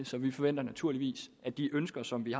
så vi forventer naturligvis at de ønsker som vi